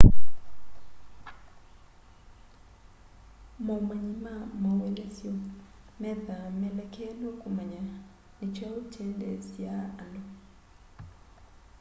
maũmanyi ma maũelesyo methaa melekelwe kũmanya nĩ kyaũ kyendeeasya andũ